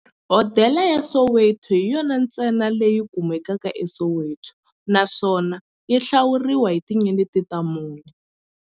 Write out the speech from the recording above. Hodela ya Soweto hi yona ntsena leyi kumekaka eSoweto, naswona yi hlawuriwa hi tinyeleti ta mune.